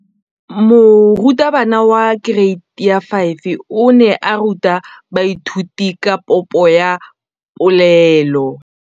Moratabana wa kereiti ya 5 o ne a ruta baithuti ka popô ya polelô.